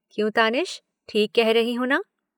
क्यों तानिश ठीक कह रहीं हूँ न?